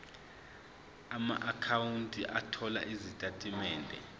amaakhawunti othola izitatimende